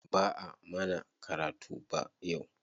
Ba'a mana karatu ba yau.